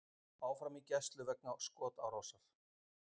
Áfram í gæslu vegna skotárásar